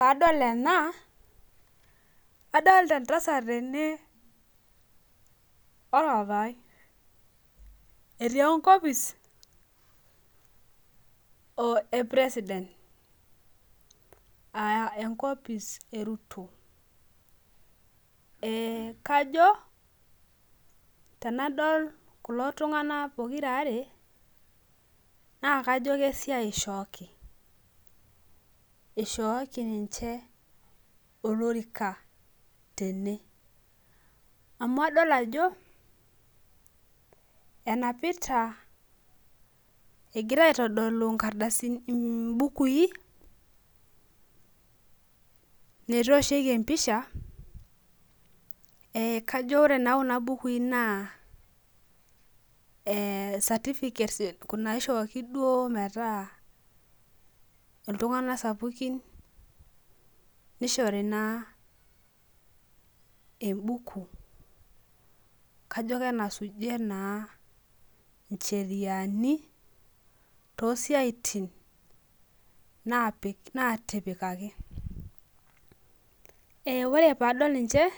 Ore anadol ena adol ta entasat ene orpapai etii enkopis epresident aa enkopis eruto e kajo tenadol kulo tunganak pokira nakajo esiaia eshooki ishooki ninche oloruka tene amu adol ajo enapita egira aitodolu mbukui metooshieki empisha ajo ore kuna bukui na certificate ishooki duo metaa ltunganak sapukin nishori na embuku kajo enasujie naa ncheriani tosiatin natipikaki ore padol ninche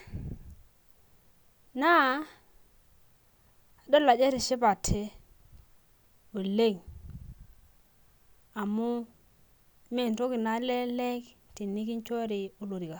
na adol ajo etishipate oleng amu mentoki nalelek tenikichori olorika.